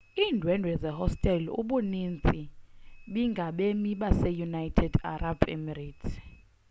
iindwendwe zehostele ubuninzi bingabemi baseunited arab emirates